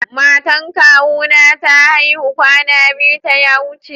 Matan kawu na ta aihu kwana biyu ta ya wuce.